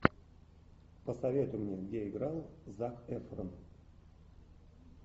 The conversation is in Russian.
посоветуй мне где играл зак эфрон